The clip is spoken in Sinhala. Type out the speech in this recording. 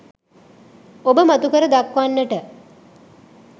ඔබ මතුකර දක්වන්නට